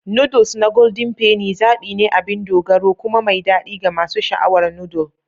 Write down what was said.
Noodles na Golden Penny zaɓi ne abin dogaro kuma mai daɗi ga masu sha'awar noodle.